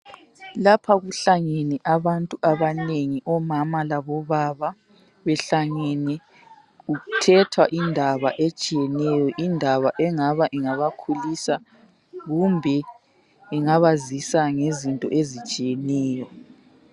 Lapha kuhlangene abantu abanengi omama labobaba, behlangene kuthethwa indaba etshiyeneyo indaba engaba ingabakhulisa kumbe ingabazisa ngezinto ezitshiyeneyo.